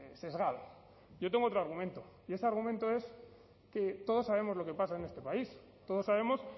sesgado yo tengo otro argumento y ese argumento es que todos sabemos lo que pasa en este país todos sabemos